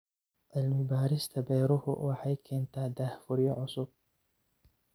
Cilmi-baarista beeruhu waxay keentaa daahfuryo cusub.